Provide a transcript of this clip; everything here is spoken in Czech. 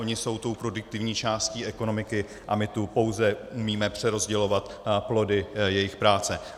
Oni jsou tou produktivní částí ekonomiky a my tu pouze umíme přerozdělovat plody jejich práce.